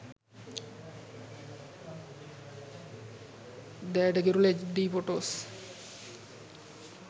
deyata kirula hd photos